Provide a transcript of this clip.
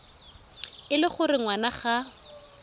e le gore ngwana ga